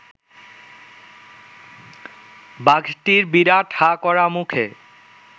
বাঘটির বিরাট হাঁ করা মুখে